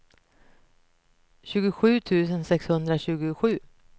tjugosju tusen sexhundratjugosju